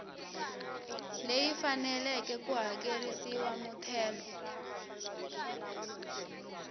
leyi faneleke ku hakerisiwa muthelo